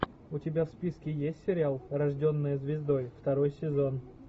у тебя в списке есть сериал рожденная звездой второй сезон